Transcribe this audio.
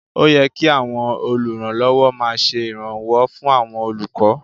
Ó yẹ kí àwọn olùrànlọ́wọ́ máa ṣe ìrànwọ́ fún àwọn olùkọ́